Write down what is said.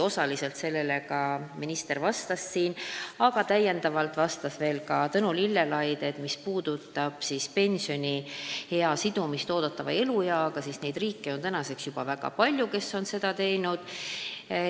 Osaliselt vastas sellele täna ka minister, aga Tõnu Lillelaid selgitas meile, et mis puudutab pensioniea sidumist eeldatava elueaga, siis neid riike on juba väga palju, kes on seda teinud.